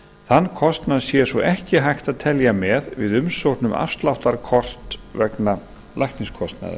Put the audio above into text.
þann kostnað sé svo ekki hægt að telja með við umsókn um afsláttarkort vegna lækniskostnaðar